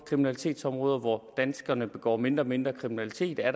kriminalitetsområder hvor danskerne begår mindre og mindre kriminalitet er